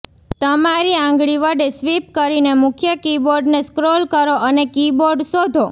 તમારી આંગળી વડે સ્વિપ કરીને મુખ્ય કીબોર્ડને સ્ક્રોલ કરો અને કીબોર્ડ શોધો